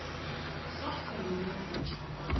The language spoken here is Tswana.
sa kgololo go tswa kwa